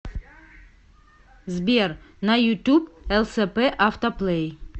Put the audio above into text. сбер на ютуб лсп автоплей